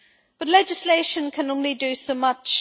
But legislation can only do so much.